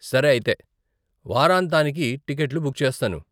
సరే, అయితే వారాంతానికి టికెట్లు బుక్ చేస్తాను.